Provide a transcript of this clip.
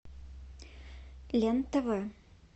лен тв